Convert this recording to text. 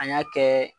An y'a kɛ